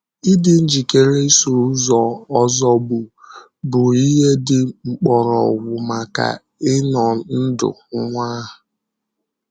Ị̀dị njikèrè ìsò ụzọ ozògbù bụ ihe dị mkpọrọgwụ maka ịnọ̀ ndụ̀ nwa ahụ.